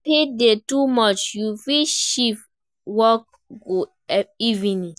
If heat dey too much, you fit shift work go evening